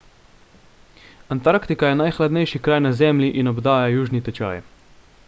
antarktika je najhladnejši kraj na zemlji in obdaja južni tečaj